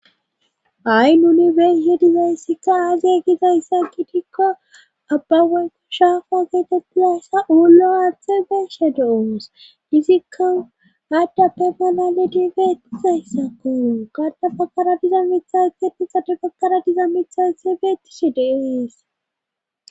Ay nuni beeshe dizayssikka aazay gizayssa kitikko abba waykku shaafa geete pilassa ullo harte beshe de'oos dizikka haddappe malaledi beettizayssa kooru gada bakara diza mithaxetu xade bakkara diza mithase beettishe deees.